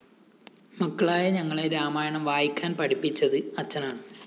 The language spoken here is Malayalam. മക്കളായ ഞങ്ങളെ രാമായണം വായിക്കാന്‍ പഠിപ്പിച്ചത് അച്ഛനാണ്